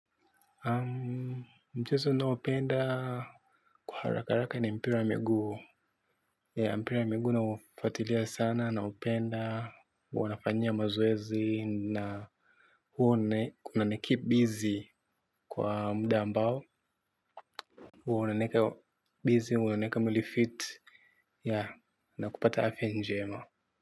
Mchezo ninaopenda kwa haraka haraka ni mpira wa miguu. Mpira wa miguu naufuatilia sana. Naupenda wanafanyia mazoezi na huwa kunanikeep busy kwa muda ambao huwa unanieka busy, huwa unanieka mwili fit. Yeah, na kupata afya njema.